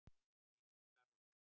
Þín Edda Rún.